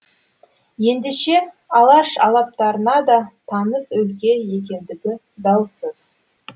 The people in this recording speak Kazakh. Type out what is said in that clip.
ендеше алаш алыптарына да таныс өлке екендігі даусыз